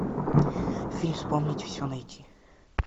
фильм вспомнить все найти